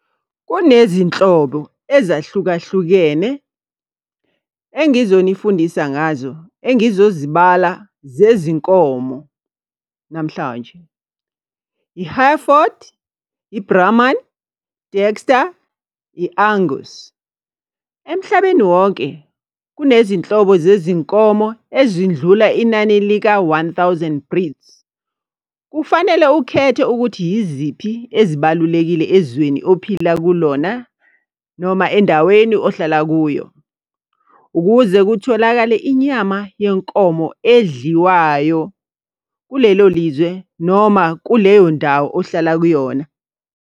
Kunezinhlobo ezahlukahlukene engizonifundisa ngazo engizozibala zezinkomo namhlanje. I-Hereford, i-Brahman, Dexter, i-Angus. Emhlabeni wonke kunezinhlobo zezinkomo ezindlula inani lika-one thousand breeds. Kufanele ukhethe ukuthi yiziphi ezibalulekile ezweni ophila kulona noma endaweni ohlala kuyo. Ukuze kutholakale inyama yenkomo edliwayo kulelo lizwe noma kuleyo ndawo ohlala kuyona.